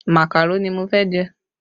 Màkàró ni mo fẹ́ jẹ